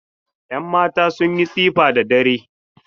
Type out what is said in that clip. Yanmata sun yi tsifa da dare.